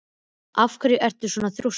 Af hverju ertu svona þrjóskur, Brá?